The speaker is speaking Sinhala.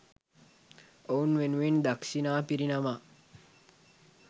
ඔවුන් වෙනුවෙන් දක්‍ෂිණා පිරිනමා